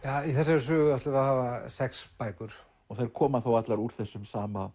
í þessari sögu ætlum við að hafa sex bækur þær koma þá allar úr þessum sama